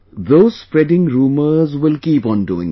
Those spreading rumours will keep on doing so